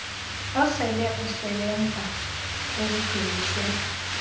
osele usebenza ezidweliswe